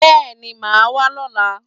Yes, I will be coming tomorrow